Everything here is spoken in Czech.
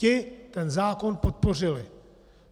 Ti ten zákon podpořili.